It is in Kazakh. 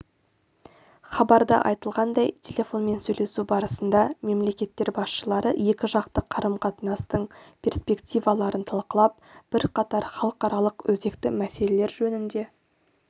хабарда айтылғандай телефонмен сөйлесу барысында мемлекеттер басшылары екіжақты қарым-қатынастың перспективаларын талқылап бірқатар халықаралық өзекті мәселелер жөнінде